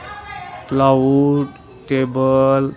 cloud table --